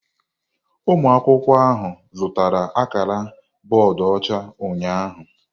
Ụmụ akwụkwọ ahụ zụtara akara bọọdụ ọcha ụnyahụ.